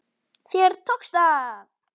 Þér tókst það!